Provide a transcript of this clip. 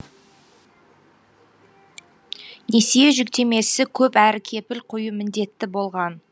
несие жүктемесі көп әрі кепіл қою міндетті болған